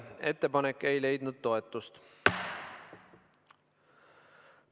Ettepanek ei leidnud toetust.